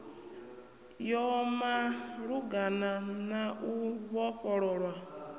ya malugana na u vhofhololwa